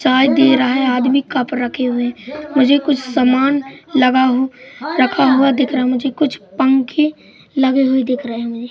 चाय दे रहा है आदमी कप रखे हुए मुझे कुछ समान लगा हू रखा हुआ दिख रहा है मुझे कुछ पंखे लगे हुए दिख रहे हैं।